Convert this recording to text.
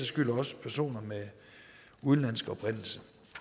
skyld også personer med udenlandsk oprindelse